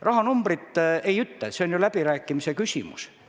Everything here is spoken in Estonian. Rahanumbrit ma ei ütle, see on läbirääkimise küsimus.